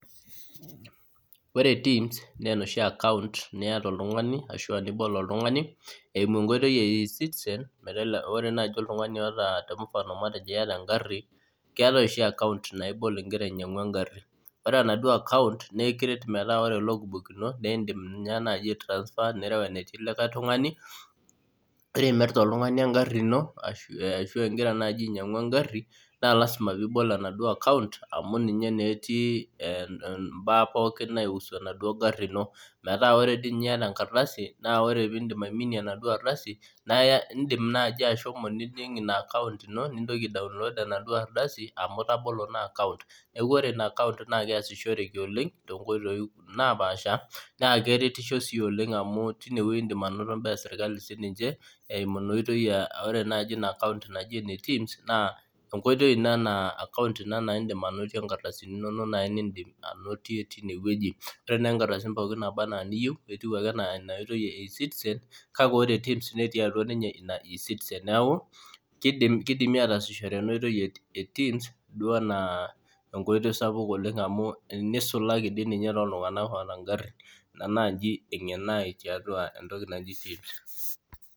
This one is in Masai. Ore TIMS naa enoshiaccount niyata oltung'ani ashu aa nibol oltung'ani eimu enkoitoi e e-citizen Ore nai oltung'ani oota temufano nai ajo iyata egharhi, keetae oshi account naa aibol igira ainyangu engarhi Ore enaduoaccount naa naa aikiret metaa ore logbook ino niidim ninye nai aitrasfer nirew enetii likai tung'ani Ore imirta oltung'ani engharhi ino ashu aa igira naji ainyang'u engharhi naa lasima piibol enaduo account amu ninye naa etii im'baa pookin naihusu enaduo gharhi ino metaa ore dii ninye iyata enkardasi naa ore piin'dim aiminie enaduo ardasi naa iindim nai ashomo nijing' ina account ino nintoki aidownoad enaduo ardasi amu itabolo naa account Niaku ore ina account naa keesishoreki oleng' toonkoitoi napaasha naa keretisho sii oleng amu tinewueji in'dim anoto imbaa eserkali eimu ina oitoi inaaccount naji ene TIMS account ina naa iindim ainotie nkardasini inono naa nii'dim anotie teine wueji Ore naai inkardasini pooki naa niyieu naa etieu ake enaa ina oitoi e e-citizen kake ore TIMS netii atwa ninye e e-citizen kidimi atasishore ena koitoi e TIMS duo anaa enkoitoi sapuk oleng neisulaki dii ninye toltung'anak oota gharhin Ina naaji eng'eno ai tiatua entoki naji TIMS